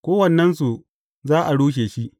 Kowannensu, za a rushe shi.